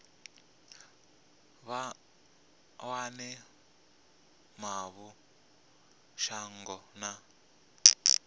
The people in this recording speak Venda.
vha wane mavu shango na